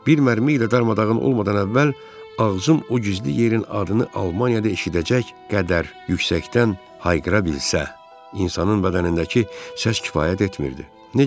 Bir mərmi ilə darmadağın olmadan əvvəl ağzım o gizli yerin adını Almaniyada eşidəcək qədər yüksəkdən hayqıra bilsə, insanın bədənindəki səs kifayət etmirdi.